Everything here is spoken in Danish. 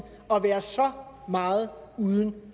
at være så meget uden